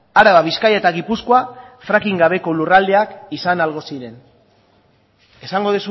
araba bizkaia eta gipuzkoa fracking gabeko lurraldeak izan ahalko ziren esango